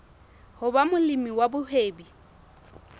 ho ba molemi wa mohwebi